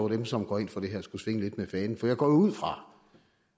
dem som går ind for det her skulle svinge lidt med fanen for jeg går jo ud fra